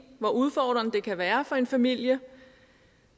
hvor udfordrede det kan være for en familie